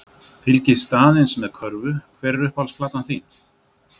Fylgist aðeins með körfu Hver er uppáhalds platan þín?